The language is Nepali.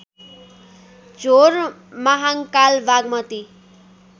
झोर महाङ्काल बागमती